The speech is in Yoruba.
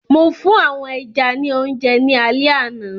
Mo fún àwọn ẹja ní oúnjẹ ní alẹ àná.